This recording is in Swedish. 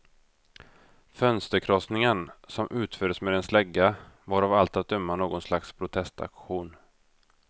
Fönsterkrossningen, som utfördes med en slägga, var av allt att döma något slags protestaktion.